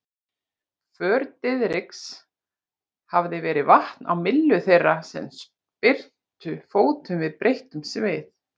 För Diðriks hafði verið vatn á myllu þeirra sem spyrntu fótum við breyttum sið.